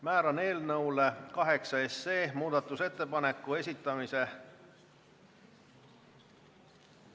Määran eelnõu 8 muudatusettepanekute esitamise ...